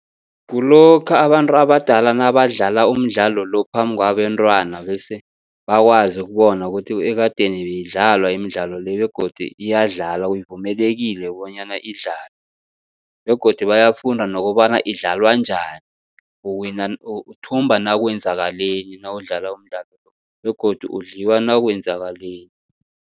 Kulokha abantu abadala nabadlala umdlalo lo phambi kwabentwana, bese bakwazi ukubona ukuthi ekadeni beyidlalwa imidlalo le begodu iyadlalwa ivumelekile bonyana idlalwe. Begodu bayafunda nokobana idlalwa njani uwina, uthumba nakwenzakaleni nawudlala umdlalo begodu udliwa nakwenzakaleni.